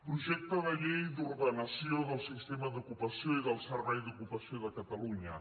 projecte de llei d’ordenació del sistema d’ocupació i del servei d’ocupació de catalunya